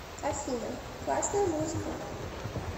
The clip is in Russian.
афина классная музыка